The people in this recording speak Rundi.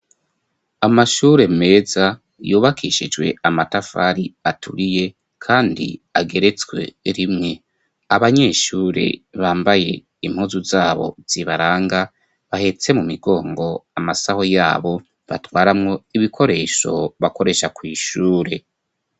amashure meza yubakishijwe amatafari aturiye kandi ageretswe rimwe abanyeshure bambaye impuzu zabo zibaranga bahetse mu migongo amasaho yabo batwaramwo ibikoresho bakoresha kw' ishure